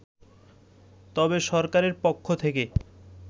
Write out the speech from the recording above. তবে সরকারের পক্ষ থেকে